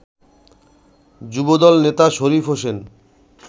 যুবদল নেতা শরীফ হোসেন